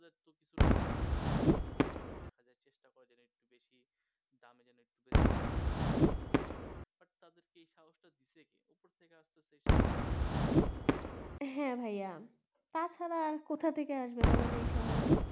হ্যাঁ ভাইয়া তাছাড়া আবার কথা থেকে আসবে